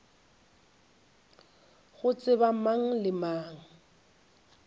go tseba mang le mang